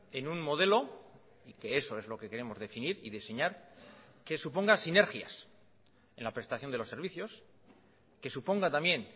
en un modelo y que eso es lo que queremos definir y diseñar que suponga sinergias en la prestación de los servicios que suponga también